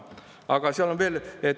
Aga seal on veel.